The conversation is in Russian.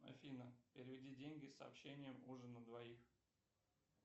афина переведи деньги с сообщением ужин на двоих